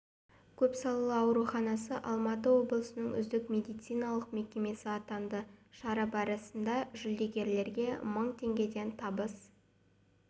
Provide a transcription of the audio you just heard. көп салалы ауруханасы алматы облысының үздік медициналық мекемесі атанды шара барысында жүлдегерлерге мың теңгеден табыс